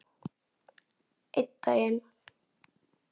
Einn daginn?